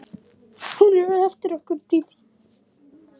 Hún er eftir okkur Dídí.